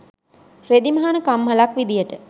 රෙදි මහන කම්හලක් විදියට